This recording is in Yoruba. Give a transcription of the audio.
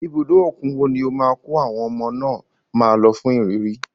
Ibùdó òkun wo ni ó máa kọ́ àwọn ọmọ náà máa lọ fún ìrírí.